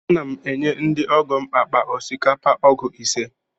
Ana m enye ndị ọgọ m akpa osikapa ọgụ ise.